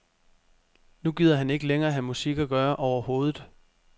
Nu gider han ikke længere have med musik at gøre overhovedet.